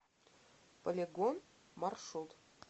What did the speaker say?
полигон маршрут